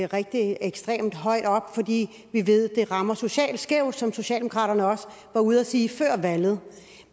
rigtig ekstremt højt op fordi vi ved at det rammer socialt skævt som socialdemokraterne også var ude at sige før valget